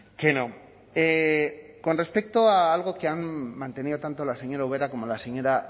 que no con respecto a algo que han mantenido tanto la señora ubera como la señora